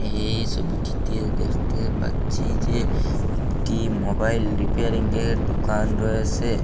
এই সবিটিতে দেখতে পাচ্ছি যে একটি মোবাইল রিপেয়ারিংয়ের দোকান রয়েসে।